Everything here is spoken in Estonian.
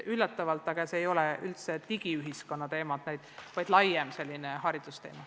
Kuid see ei ole üldse digiühiskonna teema, vaid selline laiem haridusteema.